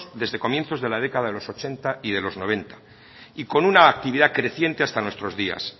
desde comienzos de la década de los ochenta y los noventa y con una actividad creciente hasta nuestro días